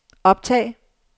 optag